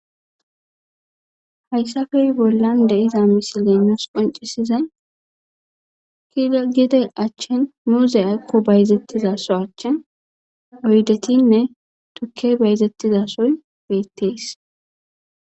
hayssafe bollan de iza misi leenos qoncisiza kigide achchen muuze akko bayzettiza so achchen oydetinne tukke bayzettizasoy beettees